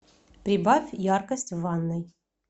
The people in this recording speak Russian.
прибавь яркость в ванной